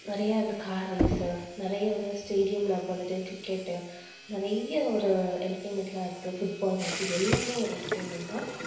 நிறைய இந்த car race நிறைய வந்து stadium ல வந்துட்டு cricket நிறைய ஒரு entertainment லாம் இருக்கு football match இது எல்லாமே ஒரு entertainment தான்